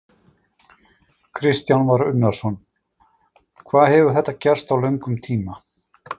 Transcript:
Kristján Már Unnarsson: Hvað hefur þetta gerst á löngum tíma?